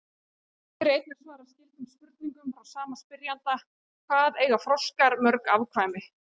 Hér er einnig svarað skyldum spurningum frá sama spyrjanda: Hvað eiga froskar mörg afkvæmi?